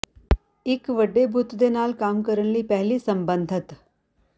ਇੱਕ ਵੱਡੇ ਬੁੱਤ ਦੇ ਨਾਲ ਕੰਮ ਕਰਨ ਲਈ ਪਹਿਲੀ ਸੰਬੰਧਤ